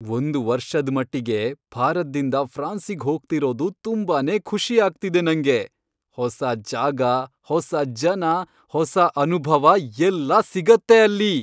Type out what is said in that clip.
ಒಂದ್ ವರ್ಷದ್ಮಟ್ಟಿಗೆ ಭಾರತ್ದಿಂದ ಫ್ರಾನ್ಸಿಗ್ ಹೋಗ್ತಿರೋದು ತುಂಬಾನೇ ಖುಷಿ ಆಗ್ತಿದೆ ನಂಗೆ. ಹೊಸ ಜಾಗ, ಹೊಸ ಜನ, ಹೊಸ ಅನುಭವ ಎಲ್ಲ ಸಿಗತ್ತೆ ಅಲ್ಲಿ..